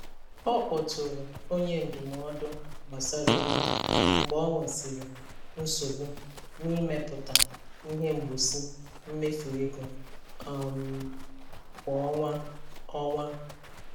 Ọ kpọtụrụ onye ndụmọdụ gbasara ego mgbe o nwesịrị nsogbu n'ịmepụta ihe mgboci mmefu ego um kwa ọnwa. ọnwa.